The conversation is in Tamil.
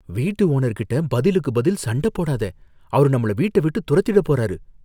வீட்டு ஓனர்கிட்ட பதிலுக்கு பதில் சண்ட போடாத. அவரு நம்மள வீட்ட விட்டு துரத்திடப் போறாரு.